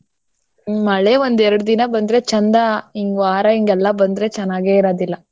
ಹ್ಮ. ಮಳೆ ಒಂದ್ ಎರ್ಡ್ ದಿನ ಬಂದ್ರೆ ಚಂದಾ ಹಿಂಗ್ ವಾರ ಹಿಂಗೆಲ್ಲ ಬಂದ್ರೆ ಚನ್ನಾಗೆ ಇರದಿಲ್ಲ.